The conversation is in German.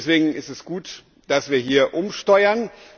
Deswegen ist es gut, dass wir hier umsteuern.